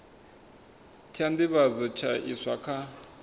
tsha nḓivhadzo tsha iswa kha